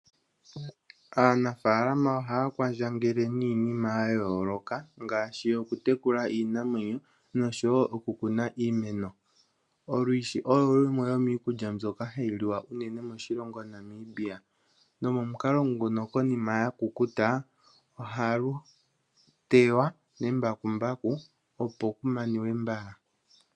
Aanafaalama oha ya kwandjangele niinima ya yooloka, ngaaahi oku tekula iinamwenyo nosho woo oku kuna iimeno. Olwishi olo lumwe lomiikulya mbyoka ha yi liwa shinene moshilongo Namibia. Nomukalo nguka konima lwakukuta oha lu tewa nembakumbaku opo ku maniwe mbala.